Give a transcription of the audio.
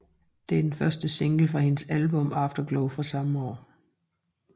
Det er den første single fra hendes album Afterglow fra samme år